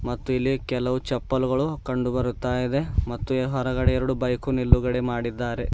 ಮತ್ತು ಇಲ್ಲಿ ಕೆಲವು ಚಪ್ಪಲ್ಗ ಳು ಕಂಡು ಬರುತ್ತಾ ಇದೆ ಮತ್ತು ಹೊರಗಡೆ ಎರಡು ಬೈಕು ನಿಲುಗಡೆ ಮಾಡಿದ್ದಾರೆ.